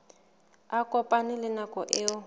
a kopane le nako eo